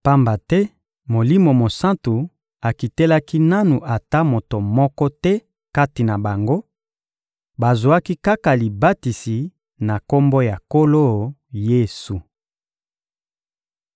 pamba te Molimo Mosantu akitelaki nanu ata moto moko te kati na bango; bazwaki kaka libatisi na Kombo ya Nkolo Yesu.